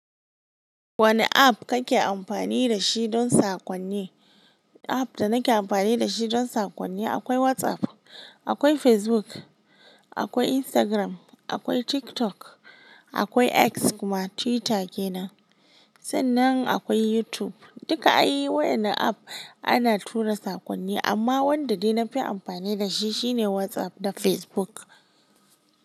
Wane app kake amfani da shi don saƙonni? App da nake amfani da shi don saƙonni akwai WhatsApp, akwai Facebook, akwai Instagram, akwai TikTok, akwai X kuma Twitter kenan. Sannan akwai YouTube. Duka ayi wayanan app ana tura saƙonni, amma wanda dai na fi amfani da shi shine WhatsApp da Facebook.